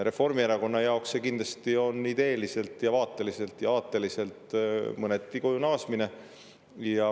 Reformierakonna jaoks on see kindlasti ideeliselt ning vaateliselt ja aateliselt mõneti koju naasmine.